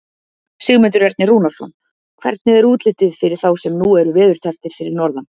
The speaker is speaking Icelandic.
Sigmundur Ernir Rúnarsson: Hvernig er útlitið fyrir þá sem nú eru veðurtepptir fyrir norðan?